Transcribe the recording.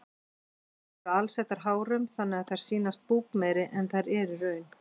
Þær eru alsettar hárum þannig að þær sýnast búkmeiri en þær eru í raun.